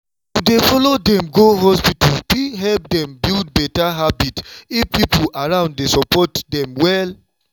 to dey follow dem go hospital fit help dem build better habit if people around dey support dem well.